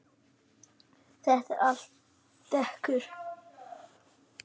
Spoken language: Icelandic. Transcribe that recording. Þetta er allt dekur.